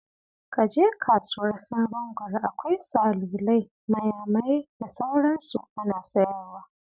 Ka je kasuwar Sabon Gari, akwai salulai, mayamayai, da sauran su ana sayarwa.